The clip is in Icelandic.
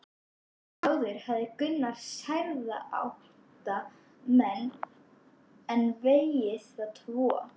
Áður hafði Gunnar særða átta menn en vegið þá tvo.